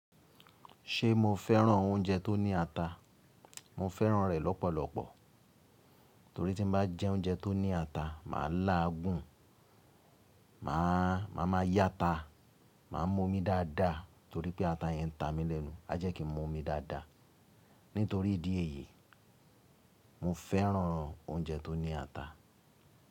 Ṣé mo fẹ́ràn oúnjẹ tó ní ata? Mo fẹ́ràn rẹ̀ lọ́pọ̀lọpọ̀ torí tí n bá jẹ oúnjẹ tó ní ata, màá lá à gùn, màá máa yá ata, màá mú omi dáadáa torí pé ata yẹn ń ta mí lẹ́nu. A jẹ́ kí n mú omi dáadáa. Nítorí ìdí èyí, mo fẹ́ràn oúnjẹ tó ní ata.